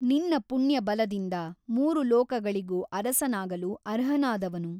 ನಿನ್ನ ಪುಣ್ಯಬಲದಿಂದ ಮೂರು ಲೋಕಗಳಿಗೂ ಅರಸನಾಗಲು ಅರ್ಹನಾದವನು.